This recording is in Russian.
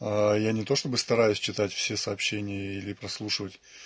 а я не то чтобы стараюсь читать все сообщения или прослушивать